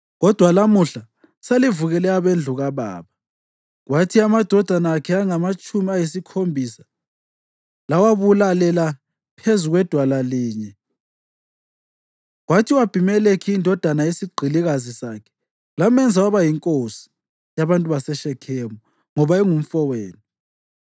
kodwa lamuhla selivukele abendlu kababa, kwathi amadodana akhe angamatshumi ayisikhombisa lawabulalela phezu kwedwala linye, kwathi u-Abhimelekhi, indodana yesigqilikazi sakhe, lamenza waba yinkosi yabantu baseShekhemu ngoba engumfowenu,